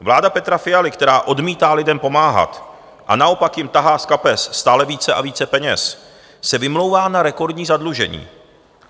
Vláda Petra Fialy, která odmítá lidem pomáhat a naopak jim tahá z kapes stále více a více peněz, se vymlouvá na rekordní zadlužení.